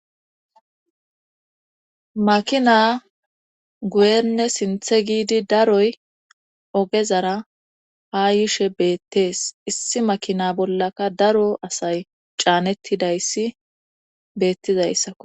Makina guyenne sinthe giidi daroy ogezara ha yishe beettees issi makina bollaka daro asay caanettidayssi beettizayssakko.